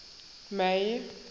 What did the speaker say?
may